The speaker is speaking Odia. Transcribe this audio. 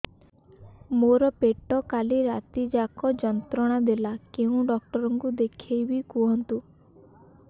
ମୋର ପେଟ କାଲି ରାତି ଯାକ ଯନ୍ତ୍ରଣା ଦେଲା କେଉଁ ଡକ୍ଟର ଙ୍କୁ ଦେଖାଇବି କୁହନ୍ତ